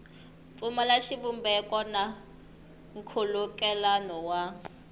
pfumala xivumbeko na nkhulukelano wa